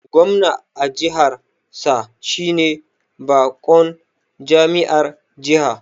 Gwamna a jihar sa shine bakon jami'ar jiha